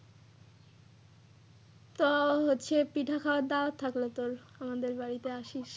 তো হচ্ছে পিঠা খাওয়ার দাওয়াত থাকলো তোর আমাদের বাড়ি আসিস।